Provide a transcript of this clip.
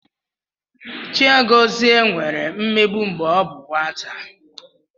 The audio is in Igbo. Chiagozie nwere mmegbu mgbe ọ bụ nwata.